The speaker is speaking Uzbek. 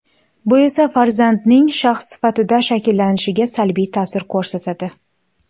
Bu esa farzandning shaxs sifatida shakllanishiga salbiy ta’sir ko‘rsatadi.